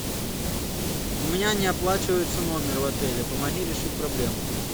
у меня не оплачивается номер в отеле помоги решить проблему